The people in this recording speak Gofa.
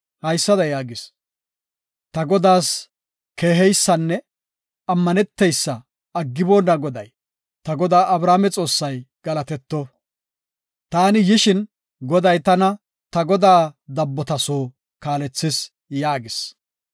haysada yaagis; “Ta godaas keeheysanne ammaneteysa aggiboonna Goday, ta godaa Abrahaame Xoossay galatetto; taani yishin, Goday tana ta godaa dabbota soo kaalethis” yaagis.